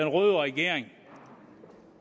røde regering